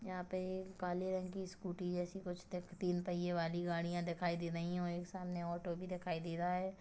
यहाँ पे एक काले रंग की स्कूटी जैसी कुछ दिख तीन पहिये वाली गाडीयां दिखाई देवाइं हैं और एक सामने ऑटो भी दिखाई दे रहा है।